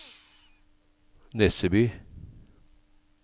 Nesseby